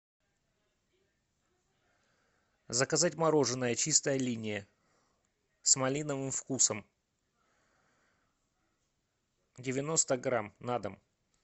заказать мороженое чистая линия с малиновым вкусом девяносто грамм на дом